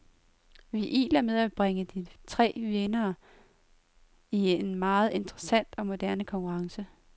Vi iler med at bringe de tre vindere i en meget interessant og moderne konkurrence.